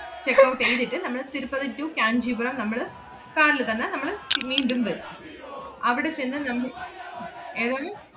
checkout എയ്തിട്ട് നമ്മള് Tirupati to Kanchipuram നമ്മള് car ല് തന്നെ നമ്മള് തി~ മീണ്ടും വരും. അവിടെ ചെന്ന് നമ്മ~ ഏതാണ്?